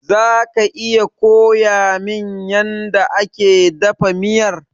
Zaka iya koyamin yanda ake dafa miyar?